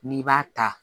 N'i b'a ta